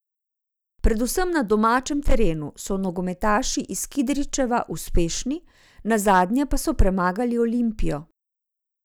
Predvsem na domačem terenu so nogometaši iz Kidričeva uspešni, nazadnje pa so premagali Olimpijo.